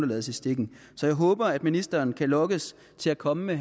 lades i stikken så jeg håber at ministeren kan lokkes til at komme med